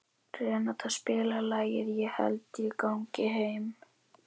Renata, spilaðu lagið „Ég held ég gangi heim“.